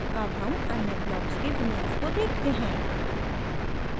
अब हम अन्य ब्लॉक्स के विन्यास को देखते हैं